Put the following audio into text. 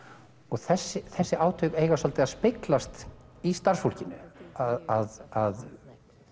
þessi þessi átök eiga svolítið að speglast í starfsfólkinu að